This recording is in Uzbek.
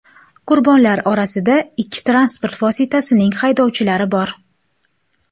Qurbonlar orasida ikki transport vositasining haydovchilari bor.